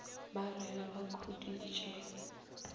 ba re ge ba khuditše